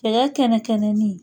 Cɛkɛ kɛnɛ kɛnɛni.